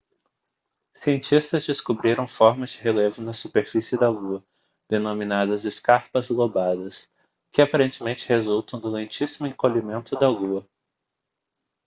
cientistas descobriram formas de relevo na superfície da lua denominadas escarpas lobadas que aparentemente resultam do lentíssimo encolhimento da lua